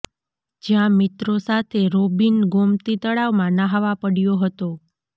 જ્યાં મિત્રો સાથે રોબિન ગોમતી તળાવમાં ન્હાવા પડયો હતો